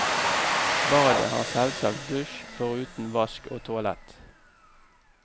Badet har selvsagt dusj foruten vask og toalett.